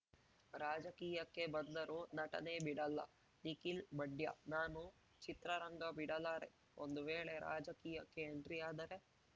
ರಾಜಕೀಯಕ್ಕೆ ಬಂದರೂ ನಟನೆ ಬಿಡಲ್ಲ ನಿಖಿಲ್‌ ಮಂಡ್ಯ ನಾನು ಚಿತ್ರರಂಗ ಬಿಡಲಾರೆ ಒಂದು ವೇಳೆ ರಾಜಕೀಯಕ್ಕೆ ಎಂಟ್ರಿಯಾದರೆ